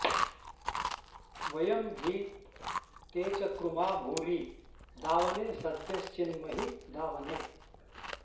व॒यं हि ते॑ चकृ॒मा भूरि॑ दा॒वने॑ स॒द्यश्चि॒न्महि॑ दा॒वने॑